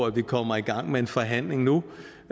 at vi kommer i gang med en forhandling nu